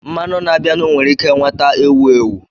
Mmanya na-abịanụ nwere ike nweta ewu ewu.